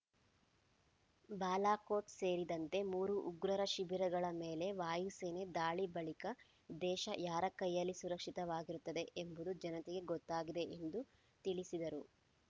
ಬಾಲಾಕೋಟ್ ಸೇರಿದಂತೆ ಮೂರು ಉಗ್ರರ ಶಿಬಿರಗಳ ಮೇಲೆ ವಾಯುಸೇನೆ ದಾಳಿ ಬಳಿಕ ದೇಶ ಯಾರ ಕೈಯಲ್ಲಿ ಸುರಕ್ಷಿತವಾಗಿರುತ್ತದೆ ಎಂಬುದು ಜನತೆಗೆ ಗೊತ್ತಾಗಿದೆ ಎಂದು ತಿಳಿಸಿದರು